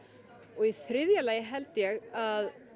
og í þriðja lagi held ég að